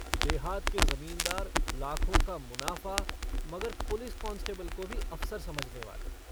देहात के ज़मींदार लाखों का मुनाफ़ा मगर पुलिस कांस्टेबिल को भी अफ़सर समझने वाले।